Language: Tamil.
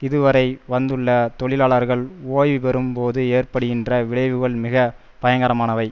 இதுவரை வந்துள்ள தொழிலாளர்கள் ஓய்வு பெறும் போது ஏற்படுகின்ற விளைவுகள் மிக பயங்கரமானவை